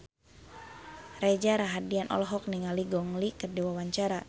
Reza Rahardian olohok ningali Gong Li keur diwawancara